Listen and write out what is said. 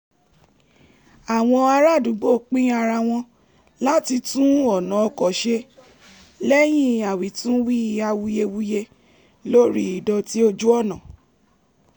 àwọn ará àdúgbò pín ara wọn láti tún ọ̀nà ọkọ̀ ṣe lẹ́yìn awitunwi awuyewuye lórí ìdọ̀tí ojú ọ̀nà